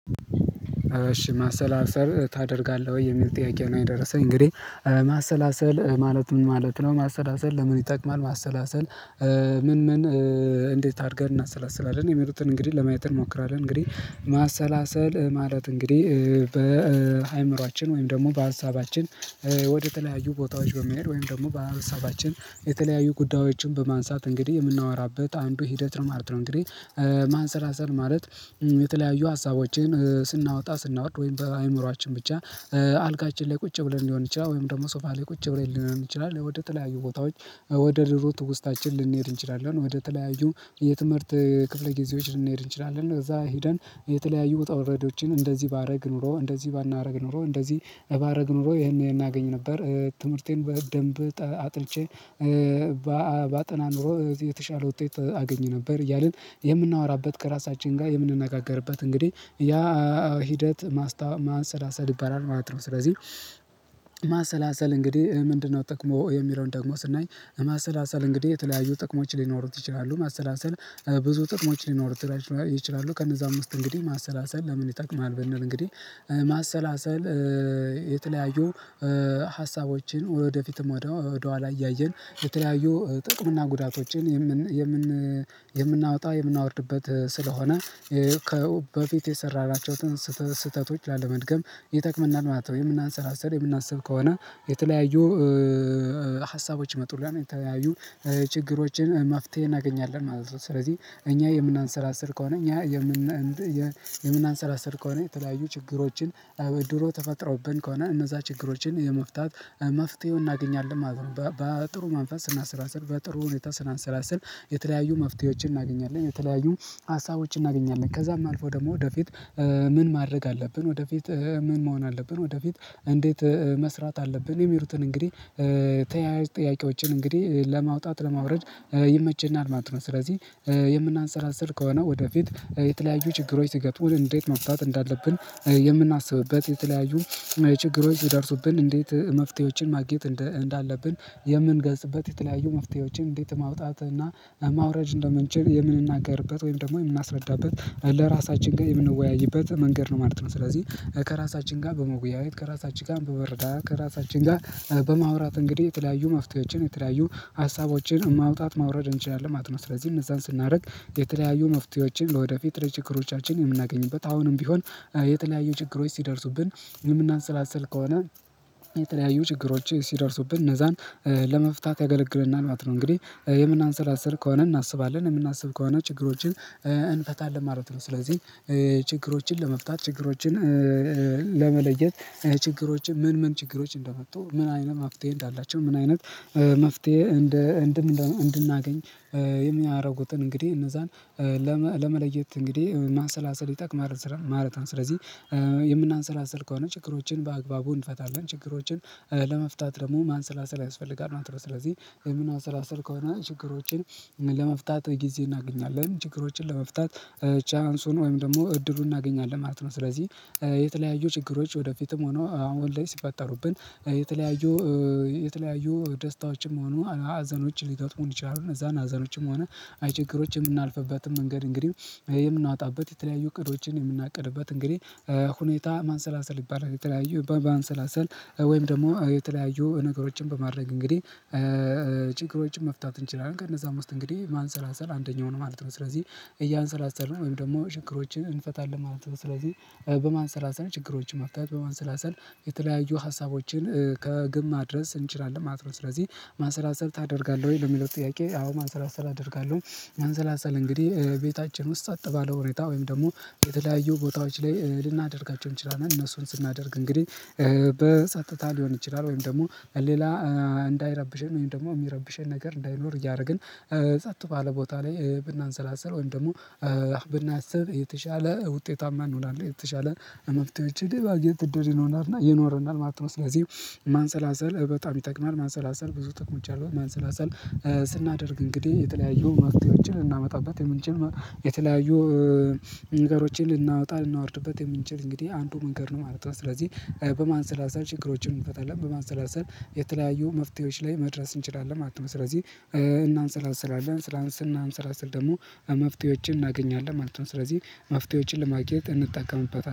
እሺ ማሰላሰል ታደርጋለህ ወይ የሚል ጥያቄ ነው። የደረሰኝ እንግዲህ ማሰላሰል ማለት ምን ማለት ነው? ማሰላሰል ለምን ይጠቅማል ማሰላሰል። ምን ምን እንዴት አድርገን እናሰላስላለን የሚሉትን እንግዲህ ለማየት እንሞክራለን። እንግዲህ ማሰላሰል ማለት እንግዲህ በአእምሮአችን ወይም ደግሞ በሀሳባችን ወደ ተለያዩ ቦታዎች በመሄድ ወይም ደግሞ በሀሳባችን የተለያዩ ጉዳዮችን በማንሳት እንግዲህ የምናወራበት አንዱ ሂደት ነው ማለት ነው። እንግዲህ ማንሰላሰል ማለት የተለያዩ ሀሳቦችን ስናወጣ ስናወርድ ወይም በአይምሮአችን ብቻ አልጋችን ላይ ቁጭ ብለን ሊሆን ይችላል ወይም ደግሞ ሶፋ ላይ ቁጭ ብለን ሊሆን ይችላል ወደ ተለያዩ ቦታዎች። ወደ ድሮ ትውስታችን ልንሄድ እንችላለን ወደ ተለያዩ የትምህርት ክፍለ ጊዜዎች ልንሄድ እንችላለን እዛ ሄደን የተለያዩ ውጣ ውረዶችን እንደዚህ ባደርግ ኖሮ እንደዚህ ባናደርግ ኖሮ እንደዚህ ባደርግ ኖሮ ይሄንን እገኝ ነበር። ትምህርቴን በደንብ አጥንቼ ባጠና ኖሮ የተሻለ ውጤት አገኝ ነበር። እያልን የምናወራበት ከራሳችን ጋር የምንነጋገርበት እንግዲህ ያ ሂደት ማስታ ማንሰላሰል ይባላል ማለት ነው። ስለዚህ ማሰላሰል እንግዲህ ምንድነው ጥቅሙ የሚለውን ደግሞ ስናይ ማሰላሰል እንግዲህ የተለያዩ ጥቅሞች ሊኖሩት ይችላሉ። ማሰላሰል ብዙ ጥቅሞች ሊኖሩት ይችላሉ ከነዛም ውስጥ እንግዲህ ማሰላሰል ለምን ይጠቅማል? ብንል እንግዲህ ማሰላሰል የተለያዩ ሀሳቦችን ወደፊትም ወደ ወደኋላ እያየን የተለያዩ ጥቅም እና ጉዳቶችን የምን የምን የምናወጣ የምናወርድበት ስለሆነ ከ ው በፊት የሰራናቸውን ስህተት ስህተቶች ላለመድገም ይጠቅመናል ማለት ነው። የምናሰለስርል የምናስብ ከሆነ የተለያዩ ሀሳቦች ይመጡልናል የተያዩ ችግሮችን መፍትሄ እናገኛለን ማለት ነው። ስለዚህ እኛ የምናሰላስል ከሆነ እኛ የምናሰላስል ከሆነ የተለያዩ ችግሮችን ድሮ ተፈጥረውብን ከሆነ እነዛ ችግሮችን የመፍታት መፍትሄው እናገኛለን ማለት ነው። በጥሩ መንፈስ ስናስላስል በጥሩ ሁኔታ ስናሰላስል የተለያዩ መፍትሄዎችን እናገኛለን የተለያዩ ሀሳቦች እናገኛለን ከዛም አልፎ ደግሞ ወደፊት ምን ማድረግ አለብን ወደፊት ምን መሆን አለብን ወደፊት እንዴት መስራት አለብን የሚሉትን እንግዲህ ተያያዥ ጥያቄዎችን እንግዲህ ለማውጣት ለማውረድ ይመችናል ማለት ነው። ስለዚህ የምናንሰላስል ከሆነ ወደፊት የተለያዩ ችግሮች ሲገጥሙን እንዴት መፍታት እንዳለብን የምናስብበት የተለያዩ ችግሮች ሲደርሱብን እንዴት መፍትሄዎችን ማግኘት እንደ እንዳለብን የምንገልጽበት የተለያዩ መፍትሄዎችን እንዴት ማውጣት እና ማውረድ እንደምንችል የምንናገርበት ወይም ደግሞ የምናስረዳበት ለራሳችን ጋር የምንወያይበት መንገድ ነው ማለት ነው። ስለዚህ ከራሳችን ጋር በመወያየት ከራሳችን ጋር በመረዳዳት ከራሳችን ጋር በማውራት እንግዲህ የተለያዩ መፍትሄዎችን የተለያዩ ሀሳቦችን ማውጣት ማውረድ እንችላለን ማለት ነው። ስለዚህ እነዛን ስናደርግ የተለያዩ መፍትሄዎችን ለወደፊት ለችግሮቻችን የምናገኝበት አሁንም ቢሆን የተለያዩ ችግሮች ሲደርሱብን የምናንሰላስል ከሆነ የተለያዩ ችግሮች ሲደርሱብን እነዛን ለመፍታት ያገለግለናል ማለት ነው። እንግዲህ የምናንሰላስል ከሆነ እናስባለን የምናስብ ከሆነ ችግሮችን እንፈታለን ማለት ነው። ስለዚህ ችግሮችን ለመፍታት ችግሮችን ለመለየት ችግሮችን ምን ምን ችግሮች እንደመጡ ምን አይነት መፍትሄ እንዳላቸው ምን አይነት መፍትሄ እንደ እንድም እንድናገኝ የሚያደርጉትን እንግዲህ እነዛን ለመ ለመለየት እንግዲህ ማንሰላሰል ይጠቅማል ማለት ነው። ስለዚህ የምናንሰላስል ከሆነ ችግሮችን በአግባቡ እንፈታለን ችግሮችን ለመፍታት ደግሞ ማንሰላሰል ያስፈልጋል ማለት ነው። ስለዚህ የምናንሰላሰል ከሆነ ችግሮችን ለመፍታት ጊዜ እናገኛለን ችግሮችን ለመፍታት ቻንሱን ወይም ደግሞ እድሉን እናገኛለን ማለት ነው። ስለዚህ የተለያዩ ችግሮች ወደፊትም ሆነ አሁን ላይ ሲፈጠሩብን የተለያዩ የተለያዩ ደስታዎችም ሆኖ ሀዘኖችን ሊገጥሙን ይችላሉ እነዛን ሀዘኖችም ሆነ ችግሮች የምናልፍበትን መንገድ እንግዲህ የምናወጣበት የተለያዩ እቅዶችን የምናቀርብበት እንግዲህ ሁኔታ ማንሰላሰል ይባላል። የተለያዩ በማንሰላሰል ወይም ደግሞ የተለያዩ ነገሮችን በማድረግ እንግዲህ ጭግሮችን መፍታት እንችላለን ከነዛም ውስጥ እንግዲህ ማንሰላሰል አንደኛው ነው ማለት ነው። ስለዚህ እያንሰላሰልን ወይም ደግሞ ችግሮችን እንፈታለን ማለት ነው። ስለዚህ በማንሰላሰል ችግሮችን መፍታት በማንሰላሰል የተለያዩ ሀሳቦችን ከግብ ማድረስ እንችላለን ማለት ነው። ስለዚህ ማንሰላሰል ታደርጋለህ ወይ ለሚለው ጥያቄ? አዎ ማንሰላሰል አደርጋለሁ። ማንሰላሰል እንግዲህ ቤታችን ውስጥ ጸጥ ባለ ሁኔታ ወይም ደግሞ የተለያዩ ቦታዎች ላይ ልናደርጋቸው እንችላለን እነሱን ስናደርግ እንግዲህ በጸጥታ ሊሆን ይችላል ወይንም ደግሞ ሌላ እንዳይረብሸን ወይም ደግሞ የሚረብሸን ነገር እንዳይኖር እያደረግን ጸጥ ባለ ቦታ ላይ ብናንሰላስል ወይም ደግሞ ብናስብ የተሻለ ውጤታማ እንሆናለን። የተሻለ መፍትሄዎችን የማግኘት እድል ይኖረናል ይኖረናል ማለት ነው። ስለዚህ ማንሰላሰል በጣም ይጠቅማል ማንሰላሰል ብዙ ጥቅሞች አሉት። ማንሰላሰል ስናደርግ እንግዲህ የተለያዩ መፍትሄዎችን ልናመጣበት የምንችል የተለያዩ ነገሮችን ልናወጣ ልናወርድበት የምንችል እንግዲህ አንዱ መንገድ ነው ማለት ነው። ስለዚህ በማንሰላሰል ችግሮችን እንፈታለን በማሰላሰል የተለያዩ መፍትሄዎች ላይ መድረስ እንችላለን። ሰለዚህ እናንሰላስላለን ስናንሰላስል ደግሞ መፍትሄዎችን እናገኛለን ማለት ነው። ስለዚህ መፍትሄዎችን ለማግኘት እንጠቀምበታለን